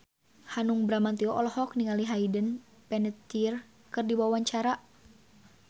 Hanung Bramantyo olohok ningali Hayden Panettiere keur diwawancara